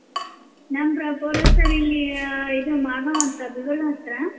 ನಮ್ಮ್ proper sir ಇಲ್ಲಿ ಇದ ಮಾಗಾವ್ ಅಂತ ಗುಲ್ಬರ್ಗ ಹತ್ರ.